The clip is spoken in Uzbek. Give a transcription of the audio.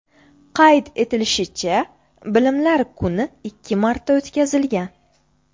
Qayd etilishicha, Bilimlar kuni ikki marta o‘tkazilgan.